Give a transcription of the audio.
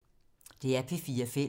DR P4 Fælles